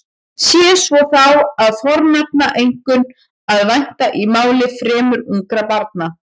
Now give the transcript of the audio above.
Sé svo þá er fornafnanna einkum að vænta í máli fremur ungra barna.